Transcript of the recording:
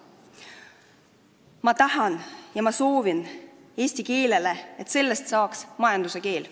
Ma tahan ja ma soovin eesti keelele, et sellest saaks majanduskeel.